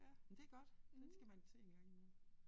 Ja men det godt det skal man se en gang imellem